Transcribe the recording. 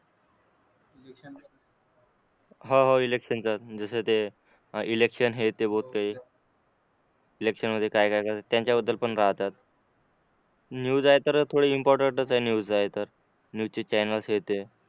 हा हा इलेक्शन जस ते इलेक्शन हे ते होतंय इलेक्शन म्हणजे काय काय त्यांच्याबद्दल पण राहतात न्यूज आहे तर थोडी इम्पॉर्टंट च आहे न्यूज आहे तर न्यूज चैनल हे ते